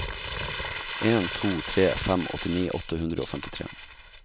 en to tre fem åttini åtte hundre og femtitre